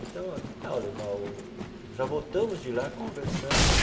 Então ó que tal levar o, já voltamos de lá, conversando ó.